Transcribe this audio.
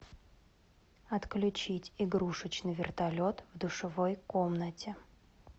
отключить игрушечный вертолет в душевой комнате